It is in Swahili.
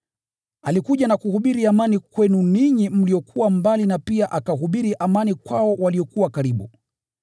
Alikuja na kuhubiri amani kwenu ninyi mliokuwa mbali na pia akahubiri amani kwao waliokuwa karibu.